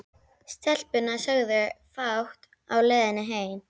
Stelpurnar sögðu fátt á leiðinni heim.